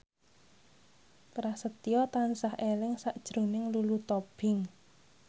Prasetyo tansah eling sakjroning Lulu Tobing